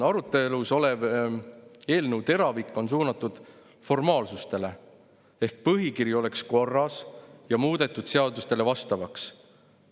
Arutelu all oleva eelnõu teravik on suunatud formaalsustele, et põhikiri oleks korras ja muudetud seadustele vastavaks.